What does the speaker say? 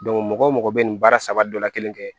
mɔgɔ mɔgɔ bɛ nin baara saba dɔ la kelen kɛ